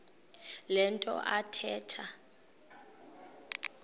le nto athetha